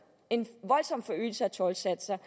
en voldsom forøgelse af toldsatserne